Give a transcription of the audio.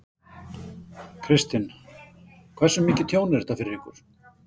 Kristinn: Hversu mikið tjón er þetta fyrir ykkur?